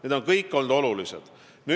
Need kõik on olulised valdkonnad olnud.